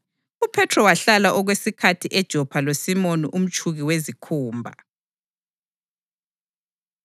UPhethro wahlala okwesikhathi eJopha loSimoni umtshuki wezikhumba.